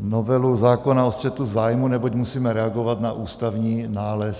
novelu zákona o střetu zájmů, neboť musíme reagovat na ústavní nález.